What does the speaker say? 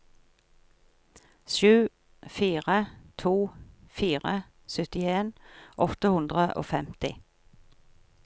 sju fire to fire syttien åtte hundre og femti